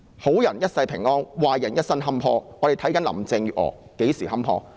好人一生平安，壞人一生坎坷，我們且看看林鄭月娥何時坎坷。